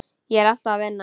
Ég er alltaf að vinna.